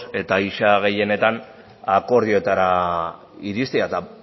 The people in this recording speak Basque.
eta ia gehienetan akordioetara iristea eta